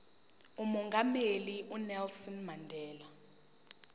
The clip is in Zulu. umongameli unelson mandela